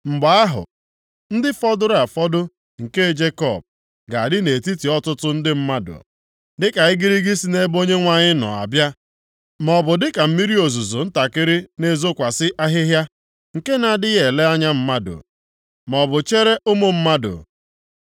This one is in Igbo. Mgbe ahụ, ndị fọdụrụ afọdụ nke Jekọb ga-adị nʼetiti ọtụtụ ndị mmadụ, dịka igirigi si nʼebe Onyenwe anyị nọ abịa, maọbụ dịka mmiri ozuzo ntakịrị na-ezokwasị ahịhịa, nke na-adịghị ele anya mmadụ maọbụ chere ụmụ mmadụ.